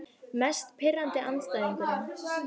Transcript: Mest pirrandi andstæðingurinn?